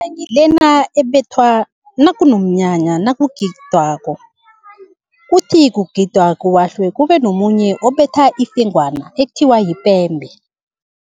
lena ebethwa nakunomnyanya nakugidwako, kuthi kugidwa kuwahlwe kube nomunye obetha ifengwana ekuthiwa yipembe.